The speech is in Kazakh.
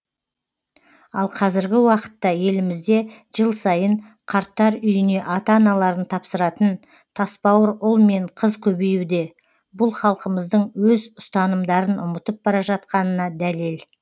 ал қазіргі уақытта елімізде жыл сайын қарттар үйіне ата аналарын тапсыратын тасбауыр ұл мен қыз көбеюде бұл халқымыздың өз ұстанымдарын ұмытып бар жатқанына дәлел